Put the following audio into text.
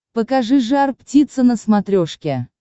покажи жар птица на смотрешке